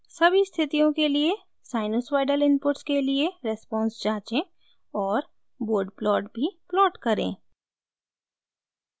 सभी स्थितियों के लिए sinusoidal inputs के लिए रेस्पोंस जाँचें और bode plot भी प्लॉट करें